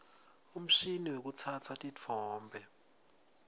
umshini wekutsatsa titfombe